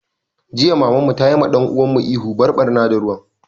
Jiya Mamar mu tayi wa ɗan uwan mu ihu 'Bar ɓarna da ruwan'!